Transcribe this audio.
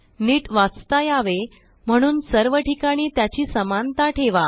नीट वाचता यावे म्हणून सर्व ठिकाणी त्याची समानता ठेवा